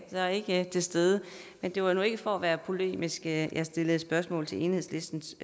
er ikke til stede men det var nu ikke for at være polemisk at jeg stillede spørgsmål til enhedslistens